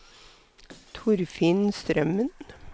Torfinn Strømmen